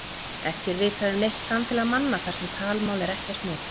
Ekki er vitað um neitt samfélag manna þar sem talmál er ekkert notað.